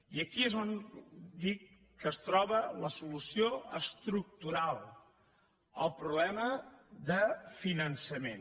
i aquí és on dic que es troba la solució estructural el problema de finançament